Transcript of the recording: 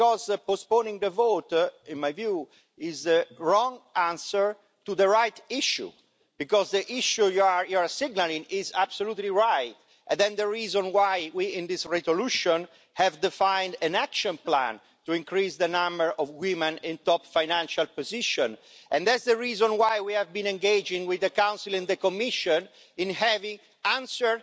Because postponing the vote, in my view, is the wrong answer to the right issue, because the issue you are signalling is absolutely right. And then the reason why we, in this resolution, have defined an action plan to increase the number of women in top financial positions, and that's the reason why we have been engaging with the Council and the Commission to have answers,